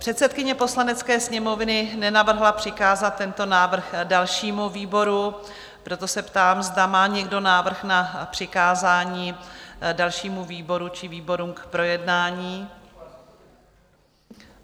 Předsedkyně Poslanecké sněmovny nenavrhla přikázat tento návrh dalšímu výboru, proto se ptám, zda má někdo návrh na přikázání dalšímu výboru či výborům k projednání?